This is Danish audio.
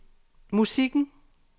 musikken